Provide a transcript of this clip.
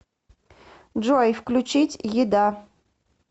джой включить еда